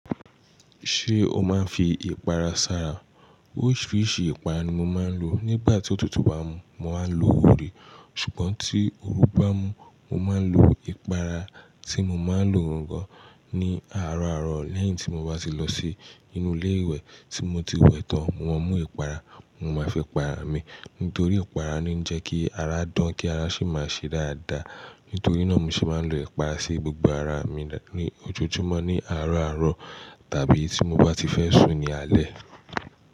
Ṣé o máa ń fi ìpara sára? Oríṣiríṣi ìpara ni mo máa ń lò. Nígbà tí òtútù bá mú, mo máa ń lo wure, ṣùgbọ́n tí oru bá mú, mo máa ń lo ìpara tí mo máa ń lò róngán ni àárọ̀ àárọ̀ lẹ́yìn tí mo bá ti lọ sí inú ilé ìwẹ̀ tí mo ti wẹ̀ tán, wọn mú ìpara, mo máa fi para mi. Nítorí ìpara ni ó ń jẹ kí ara dán, kí ara sì máa ṣe dáadáa. Nítorí náà ni ṣe máa ń lo ìpara sí gbogbo ara mi ní ojojúmọ́ ní àárọ̀ àárọ̀ tàbí tí mo bá ti fẹ́ sùn ní alẹ́.